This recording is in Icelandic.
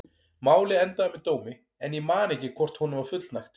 Málið endaði með dómi en ég man ekki hvort honum var fullnægt.